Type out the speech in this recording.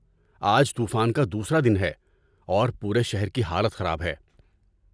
آج طوفان کا دوسرا دن ہے، اور پورے شہر کی حالت خراب ہے۔